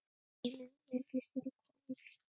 Hans tími virðist vera kominn.